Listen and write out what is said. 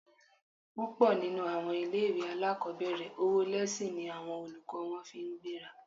Púpọ̀ nínú àwọn ilé-ìwé alákọ̀ọ́bẹ̀rẹ̀, owó lẹ́síìnì ni àwọn olùkọ́ wọn fi ń gbéra